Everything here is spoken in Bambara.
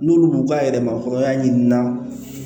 N'olu b'u ka yɛrɛmakɔrɔnya ɲinina